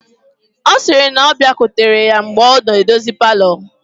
Ọ sịrị na ọ bịakwutere ya mgbe ọ na-edozi palọ